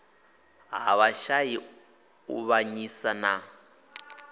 ha vhashai u avhanyisa na